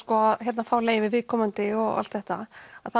að fá leyfi frá viðkomandi og allt þetta þá